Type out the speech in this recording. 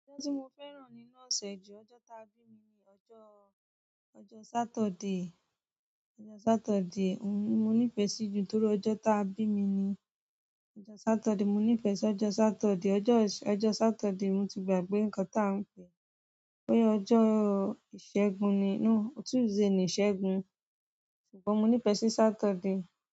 Ọjọ́ tí mo fẹ́ràn ni nọ́ọ̀sẹ̀ ju ọjọ́ ta bí mi ni ọjọ́, ọjọ́ Saturday. Ọjọ́ Saturday, òhun ni mo nífẹ̀ẹ́ sí ju torí ọjọ́ ta bí mi ni. Ọjọ́ Saturday, mo ní pẹ̀ sì ọjọ́ Saturday. Ọjọ́, ọjọ́ Saturday mo ti gbàgbé nǹkan tí a ń pè pé ọjọ́ ìṣẹ́gun ni, no Tuesday ni ìṣẹ́gun, ṣùgbọ́n mo ní pẹ̀ sì Saturday.